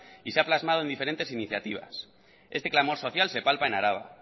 y se ha plasmado en diferentes iniciativas este clamor social se palpa en araba